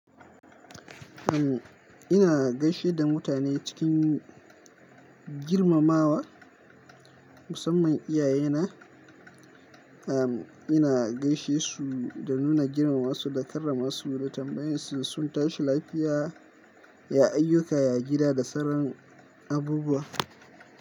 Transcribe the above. Uhm, ina gaishe da mutane cikin girmamawa, musamman iyaye na. Uhm, ina gaishe su da nuna girmamasu da karramasu da tambayan su sun tashi lafiya, ya ayyuka, ya gida da sarran abubuwa.